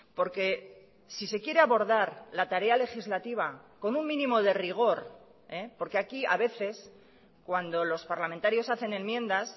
porque si se quiere abordar la tarea legislativa con un mínimo de rigor porque aquí a veces cuando los parlamentarios hacen enmiendas